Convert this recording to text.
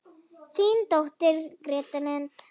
Þín dóttir, Greta Lind.